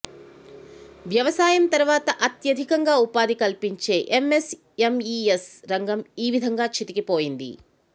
వ్యవసాయం తర్వాత అత్యధికంగా ఉపాధి కల్పించే ఎంఎస్ఎంఈఎస్ రంగం ఈ విధంగా చితికిపోయింది